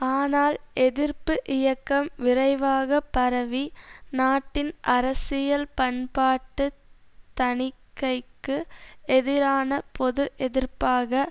ஆனால் எதிர்ப்பு இயக்கம் விரைவாக பரவி நாட்டின் அரசியல் பண்பாட்டு தணிக்கைக்கு எதிரான பொது எதிர்ப்பாக